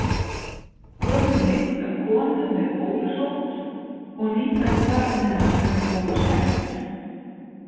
Gömul mynd af konu með bólusótt og nýfæddu barni hennar sem er bólusett.